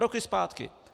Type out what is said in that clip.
Roky zpátky.